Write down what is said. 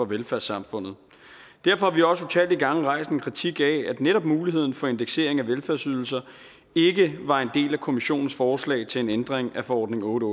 velfærdssamfundet derfor har vi også utallige gange rejst en kritik af at netop muligheden for indeksering af velfærdsydelser ikke var en del af kommissionens forslag til en ændring af forordning otte